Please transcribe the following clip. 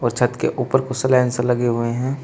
छत के ऊपर कुछ सेलेंसर लगे हुए हैं।